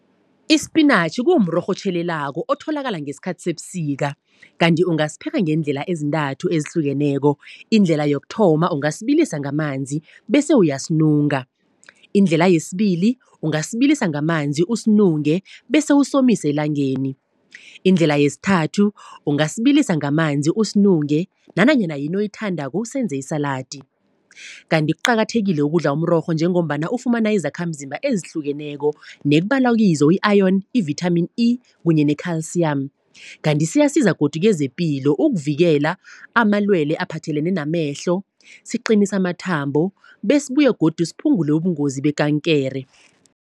Isipinatjhi kumrorho otjhelelako, otholakala ngesikhathi sebusika. Kanti ongasipheka ngeendlela ezintathu ezihlukeneko. Indlela yokuthoma ungasibilisa ngamanzi bese uyasinunga. Indlela yesibili ungasibilisa ngamanzi usinunge, bese usomise elangeni. Indlela yesithathu ungasibilisa ngamanzi usinunge, nanyana yini oyithandako usebenze isaladi. Kanti kuqakathekile ukudla umrorho, njengombana ufumana izakhamzimba ezihlukeneko, nekubalwakizo i-ayoni, i-vithamini E, kunye ne-khalsiyamu. Kanti siyasiza godu kezepilo, ukuvikela amalwele aphathelene namehlo, siqinisa amathambo besibuye godu siphungule ubungozi bekankere.